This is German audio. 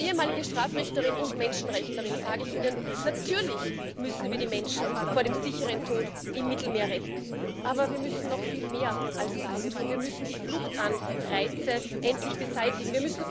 Als ehemalige Strafrichterin und Menschenrechtlerin sage ich Ihnen Natürlich müssen wir die Menschen vor dem sicheren Tod im Mittelmeer retten, aber wir müssen noch viel mehr als das tun, wir müssen die Fluchtanreize endlich beseitigen.